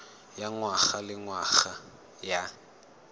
ya ngwaga le ngwaga ya